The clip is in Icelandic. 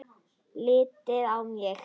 Lítið á mig!